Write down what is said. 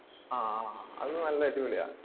ആഹ് അത് നല്ല അടിപൊളിയാ.